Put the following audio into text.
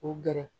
K'u gɛrɛ